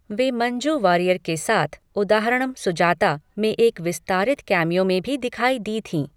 वे मंजू वारियर के साथ 'उदाहारणम् सुजाता' में एक विस्तारित केमियो में भी दिखाई दी थीं।